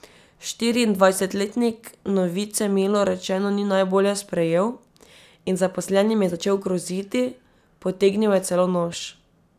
Štiriindvajsetletnik novice milo rečeno ni najbolje sprejel in zaposlenim je začel groziti, potegnil je celo nož.